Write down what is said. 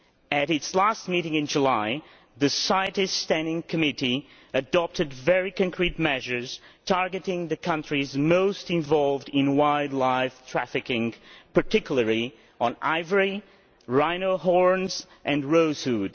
At its last meeting in July, the CITES Standing Committee adopted very concrete measures targeting the countries most involved in wildlife trafficking, particularly in ivory, rhino horns and rosewood.